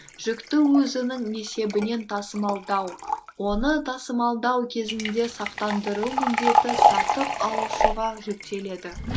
жүкті өзінің есебінен тасымалдау оны тасымалдау кезінде сақтандыру міндеті сатып алушыға жүктеледі